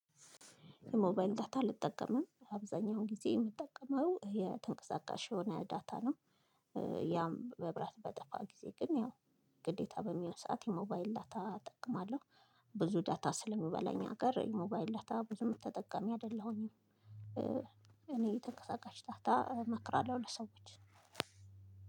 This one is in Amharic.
የሞባይል ዳታ አልጠቀምም። አብዛኛውን ጊዜ የምጠቀመው የተንቀሳቃሽ የሆነ ዳታ ነው ያም መብራት በጠፋ ጊዜ ግን ያው ግዴታ በሚሆን ሰዓት የሞባይል ዳታ እጠቀማለሁ። ብዙ ዳታ ስለሚበላኝ እኛ ሀገር ሞባይል ዳታ ብዙ ተጠቃሚ አይደለሁኝም እኔ የተቀሰቀሽ ዳታ እመክራለሁ ለሰዎች